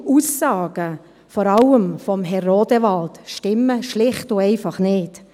Verschiedene Aussagen, vor allem von Herrn Rodewald, stimmen schlicht und einfach nicht.